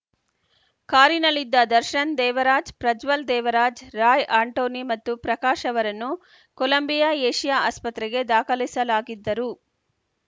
ಕಾರಿನಲ್ಲಿದ್ದ ದರ್ಶನ್‌ ದೇವರಾಜ್‌ ಪ್ರಜ್ವಲ್‌ ದೇವರಾಜ್‌ ರಾಯ್‌ ಆಂಟೋನಿ ಮತ್ತು ಪ್ರಕಾಶ್‌ ಅವರನ್ನು Columbia Asia ಆಸ್ಪತ್ರೆಗೆ ದಾಖಲಿಸಲಾಗಿದ್ದರು